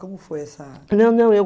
Como foi essa... Não, não, eu